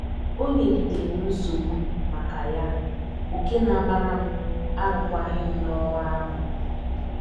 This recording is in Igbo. O nyegidere m nsogbu maka ya nke na agbara m arụkwaghịm n’ọrụ ahụ! ”